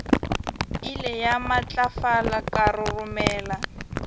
ile ya matlafala ka roromela